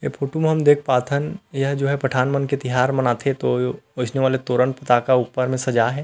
ये फोटो म हम देख पाथन यह जो है पठान मन के तिहार मनाथे तो ओइसने वाला तोरण फटाका सजाये हे।